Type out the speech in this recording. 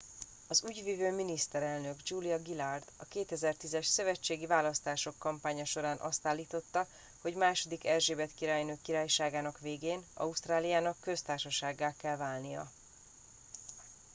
az ügyvivő miniszterelnök julia gillard a 2010 es szövetségi választások kampánya során azt állította hogy ii erzsébet királynő királyságának végén ausztráliának köztársasággá kell válnia